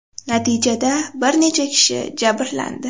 Natijada bir necha kishi jabrlandi.